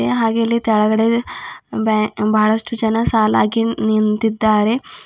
ಹೂಂ ಹಾಗೆ ಇಲ್ಲಿ ತೆಳಗಡೆ ಬ್ಯಾ ಬಹಳಷ್ಟು ಜನ ಸಾಲಾಗಿ ನಿಂತಿದ್ದಾರೆ.